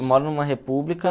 Eu moro numa república.